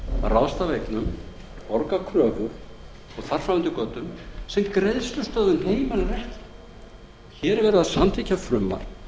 ráðstafa eignum borga kröfur og þar fram eftir götum sem greiðslustöðvun heimilar ekki hér er verið að samþykkja frumvarp